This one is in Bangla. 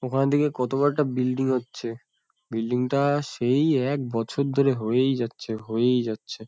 ওখানের দিকে কত বড় একটা বিল্ডিং হচ্ছে। বিল্ডিং -টা সেই একবছর ধরে হয়েই যাচ্ছে হয়েই যাচ্ছে।